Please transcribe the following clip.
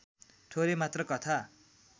थोरै मात्र कथा